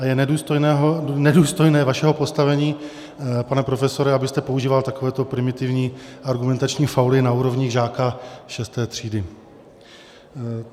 A je nedůstojné vašeho postavení, pane profesore, abyste používal takovéto primitivní argumentační fauly na úrovni žáka 6. třídy.